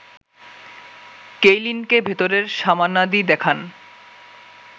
কেইলিনকে ভেতরের সামানাদি দেখান